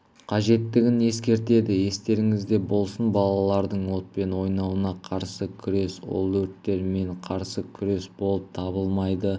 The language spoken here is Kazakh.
қажеттігін ескертеді естеріңізде болсын балалардың отпен ойнауына қарсы күрес ол өрттермен қарсы күрес болып табылмайды